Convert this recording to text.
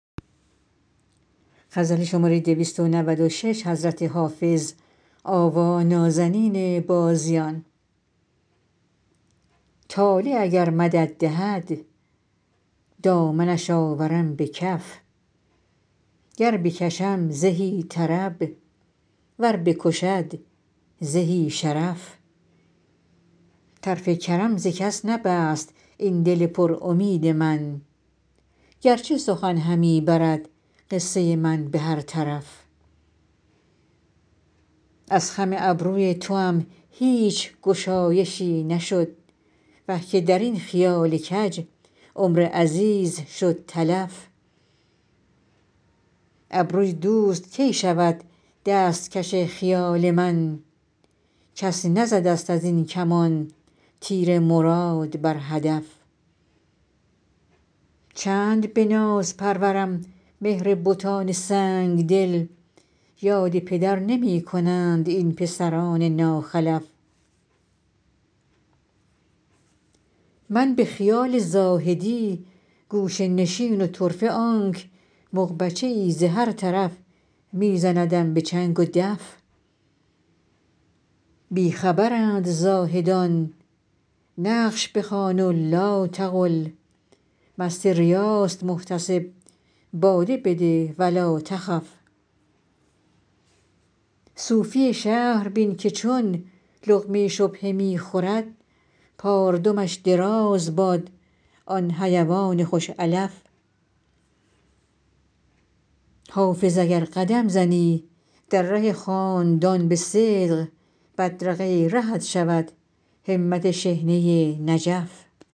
طالع اگر مدد دهد دامنش آورم به کف گر بکشم زهی طرب ور بکشد زهی شرف طرف کرم ز کس نبست این دل پر امید من گر چه سخن همی برد قصه من به هر طرف از خم ابروی توام هیچ گشایشی نشد وه که در این خیال کج عمر عزیز شد تلف ابروی دوست کی شود دست کش خیال من کس نزده ست از این کمان تیر مراد بر هدف چند به ناز پرورم مهر بتان سنگ دل یاد پدر نمی کنند این پسران ناخلف من به خیال زاهدی گوشه نشین و طرفه آنک مغبچه ای ز هر طرف می زندم به چنگ و دف بی خبرند زاهدان نقش بخوان و لاتقل مست ریاست محتسب باده بده و لاتخف صوفی شهر بین که چون لقمه شبهه می خورد پاردمش دراز باد آن حیوان خوش علف حافظ اگر قدم زنی در ره خاندان به صدق بدرقه رهت شود همت شحنه نجف